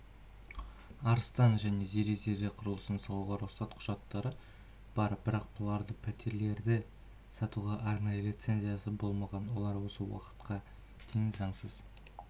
арыстан және зере зере құрылысты салуға рұқсат құжаттары бар бірақ бұларда пәтерлерді сатуға арнайы линцензиясы болмаған олар осы уақытқа дейін заңсыз